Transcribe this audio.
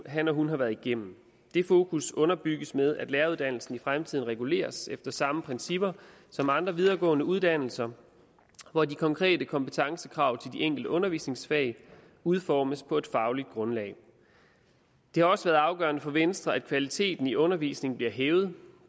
han eller hun har været igennem det fokus underbygges ved at læreruddannelsen i fremtiden reguleres efter samme principper som andre videregående uddannelser hvor de konkrete kompetencekrav til de enkelte undervisningsfag udformes på et fagligt grundlag det har også været afgørende for venstre at kvaliteten i undervisningen blev hævet